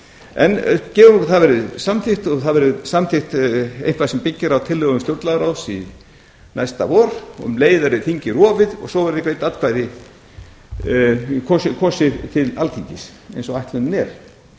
en gefum okkur að það verði samþykkt og það verði samþykkt eitthvað sem byggir á tillögum stjórnlagaráðs næsta vor og um leið veri þingið rofið og svo verði kosið til alþingis eins og ætlunin er